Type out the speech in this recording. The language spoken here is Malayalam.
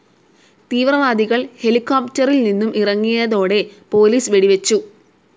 തീവ്രവാദികൾ ഹെലികോപ്റ്ററിൽ നിന്നും ഇറങ്ങിയതോടെ പോലിസ് വെടിവെച്ചു.